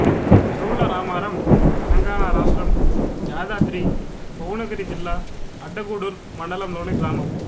చౌల్లరామారం తెలంగాణ రాష్ట్రం యాదాద్రి భువనగిరి జిల్లా అడ్డగూడూర్ మండలంలోని గ్రామం